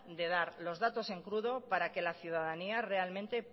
de dar los datos en crudo para que la ciudadanía